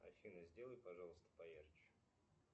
афина сделай пожалуйста поярче